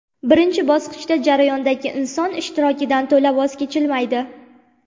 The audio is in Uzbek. Birinchi bosqichda jarayondagi inson ishtirokidan to‘la voz kechilmaydi.